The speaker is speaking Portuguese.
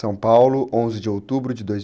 onze de outubro de dois...